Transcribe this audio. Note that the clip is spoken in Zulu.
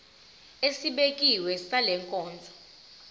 esibekiwe sale nkonzo